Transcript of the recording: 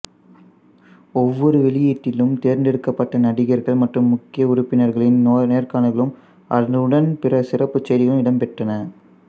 ஒவ்வொரு வெளியீட்டிலும் தேர்ந்தெடுக்கப்பட்ட நடிகர்கள் மற்றும் முக்கிய உறுப்பினர்களின் நேர்காணல்களும் அதனுடன் பிற சிறப்பு செய்திகளும் இடம்பெற்றன